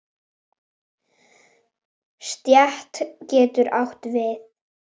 Stétt getur átt við